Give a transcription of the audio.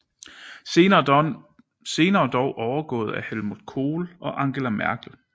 Senere dog overgået af Helmut Kohl og Angela Merkel